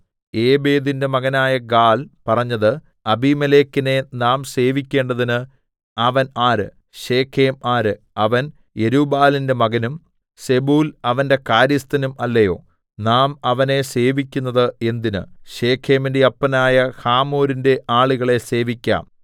ഏബേദിന്റെ മകനായ ഗാല്‍ പറഞ്ഞത് അബീമേലെക്കിനെ നാം സേവിക്കേണ്ടതിന് അവൻ ആര് ശെഖേം ആര് അവൻ യെരുബ്ബാലിന്റെ മകനും സെബൂൽ അവന്റെ കാര്യസ്ഥനും അല്ലയോ നാം അവനെ സേവിക്കുന്നത് എന്തിന് ശെഖേമിന്റെ അപ്പനായ ഹമോരിന്റെ ആളുകളെ സേവിക്കാം